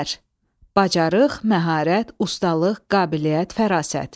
Bacarıq, məharət, ustalıq, qabiliyyət, fərasət.